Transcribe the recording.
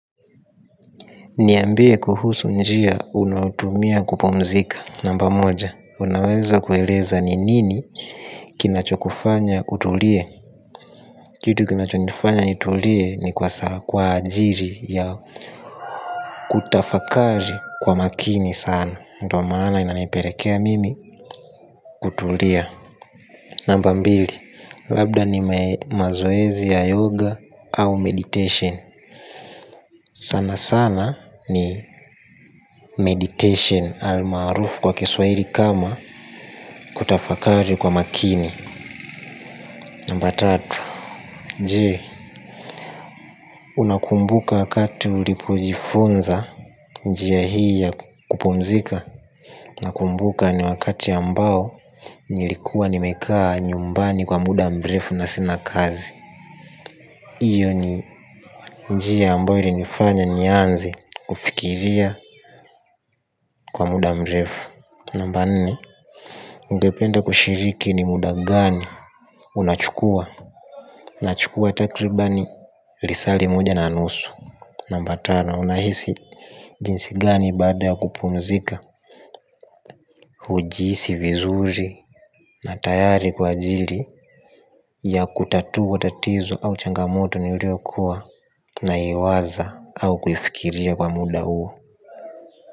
Niambie kuhusu njia unaotumia kupumzika. Namba moja, unaweza kueleza ni nini kinachokufanya utulie. Kitu kinachonifanya nitulie ni kwa saa kwa ajiri ya kutafakari kwa maakini sana ndio maana inanipelekea mimi kutulia. Namba mbili, labda ni mazoezi ya yoga au meditation. Sana sana ni meditation almarufu kwa kiswaili kama kutafakari kwa maakini. Namba tatu je unakumbuka wakati ulipojifunza njia hii ya kupumzika. Nakumbuka ni wakati ambao nilikuwa nimekaa nyumbani kwa muda mrefu na sina kazi. Hiyo ni njia ambayo ilinifanya nianze kufikiria kwa muda mrefu. Namba nne. Ungependa kushiriki ni muda gani. Unachukua nachukua takribani lisaa li moja na nusu. Namba tano unahisi jinsi gani baada ya kupumzika. Hujihisi vizuri. Na tayari kwa ajiri ya kutatua tatizo au changamoto Niliyokuwa Na iwaza au kuifikiria kwa muda huo.